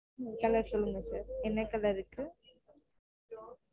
colour சொல்லுங்க sir என்ன colour இருக்கு